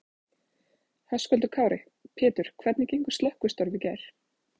Höskuldur Kári: Pétur hvernig gengu slökkvistörf í gær?